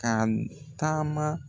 Tane taama.